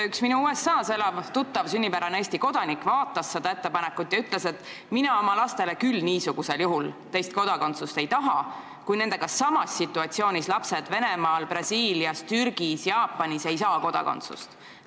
Üks minu USA-s elav tuttav, sünnijärgne Eesti kodanik, vaatas seda ettepanekut ja ütles, et tema küll oma lastele teist kodakondsust ei taha, kui nendega samas situatsioonis olevad lapsed näiteks Venemaal, Brasiilias, Türgis või Jaapanis ei saa kodakondsust.